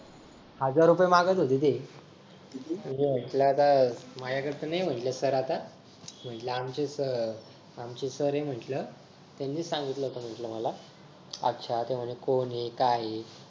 हजार रुपये मागत होते ते माझ्या कडे तर नाही म्हंटल sir आता म्हंटल आमचे sir आमचे sir म्हंटल त्यांनीच सांगितलं होत मला अच्छा तर कोण हाय काय हाय